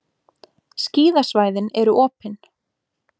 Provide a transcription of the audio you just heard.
Skíðasvæðin eru opin